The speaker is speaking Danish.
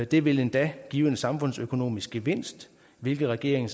det vil endda give en samfundsøkonomisk gevinst hvilket regeringen